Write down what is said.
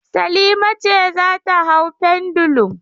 Salima ce za ta hau pendulum.